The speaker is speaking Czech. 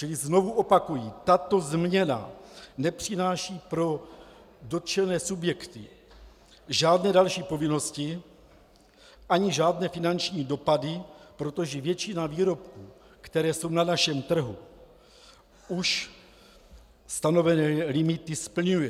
Čili znovu opakuji, tato změna nepřináší pro dotčené subjekty žádné další povinnosti ani žádné finanční dopady, protože většina výrobků, které jsou na našem trhu, už stanovené limity splňuje.